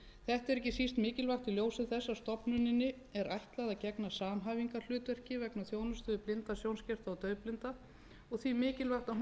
er ekki síst mikilvægt í ljósi þess að stofnuninni er ætlað að gegna samhæfingarhlutverki vegna þjónustu við blinda sjónskerta og daufblinda og því mikilvægt